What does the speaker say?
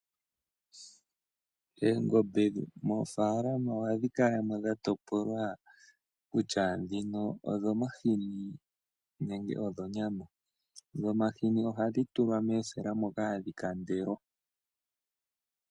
Eengombe mofalama ohadhi kalamo dhatopolwa kutya dhino odhomahini nenge odho nyama, dhomahini ohadhitulwa mosela moka hadhikandelwa.